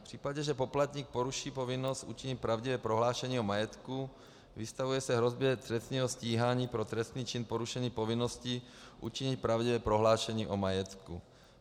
V případě, že poplatník poruší povinnost učinit pravdivé prohlášení o majetku, vystavuje se hrozbě trestního stíhání pro trestný čin porušení povinnosti učinit pravdivé prohlášení o majetku.